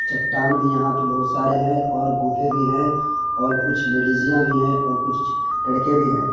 चट्टान भी यहाँ बहुत सारे है और गूफे भी है और कुछ लेडिजियाँ भी है और कुछ लड़के भी है।